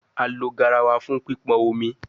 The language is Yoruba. A lo garawa fun pipon omi